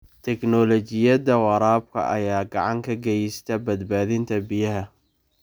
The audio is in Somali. Tignoolajiyada waraabka ayaa gacan ka geysta badbaadinta biyaha.